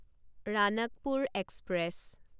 Ranakpur express